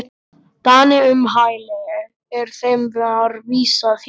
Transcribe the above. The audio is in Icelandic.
Dani um hæli, er þeim var vísað héðan.